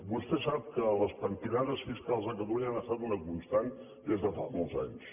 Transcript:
vostè sap que les pentinades fiscals a catalunya han estat una constant des de fa molts anys